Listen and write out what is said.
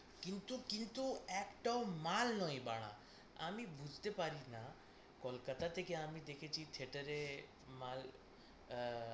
কিন্তু কিন্তু একটাও মাল নয় বাড়া। আমি বুঝতে পারিনা কলকাতা থেকে আমি দেখেছি theatre এ মাল আ~